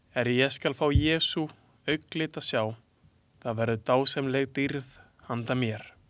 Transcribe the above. Er ég skal fá Jesú auglit að sjá, það verður dásamleg dýrð handa mér.